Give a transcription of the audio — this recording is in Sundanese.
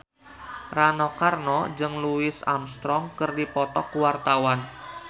Rano Karno jeung Louis Armstrong keur dipoto ku wartawan